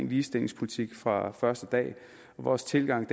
ligestillingspolitik fra første dag vores tilgang